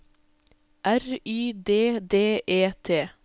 R Y D D E T